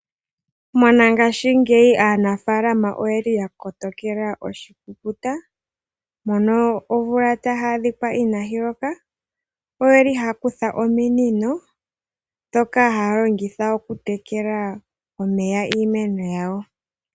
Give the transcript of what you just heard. Monangashingeyi aanafaalama oyeli ya kotokela oshikukuta mono omvula taya adhikwa inayi loka, oyeli haya kutha ominino dhoka haya longitha okutekela omeya iimeno yawo.